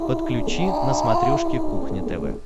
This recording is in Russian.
подключи на смотрешке кухня тв